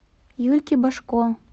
юльке божко